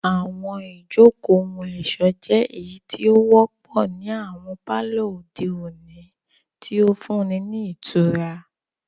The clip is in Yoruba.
Àwọn ijoko ohun-ọṣọ jẹ eyiti o wọpọ ni awọn palọ ode oni, ti o funni ni itura.